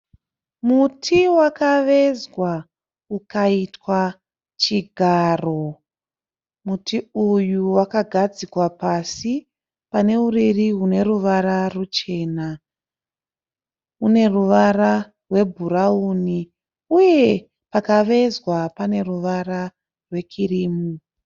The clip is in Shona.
Muti wakavezwa ukaitwa chigaro. Muti uyu wakagadzikwa pasi pane uriri hune ruvara ruchena. Une ruvara rwebhurauni. Uye pakavezwa pane ruvara rwekirimu.